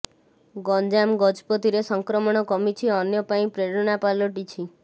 ଗଂଜାମ ଗଜପତିରେ ସଂକ୍ରମଣ କମିଛି ଅନ୍ୟ ପାଇଁ ପ୍ରେରଣା ପାଲଟିଛି